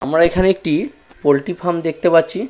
আমরা এখানে একটি পোলট্রি ফার্ম দেখতে পাচ্ছি।